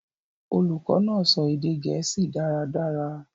Olukọ naa sọ ede Gẹẹsi dàradàra.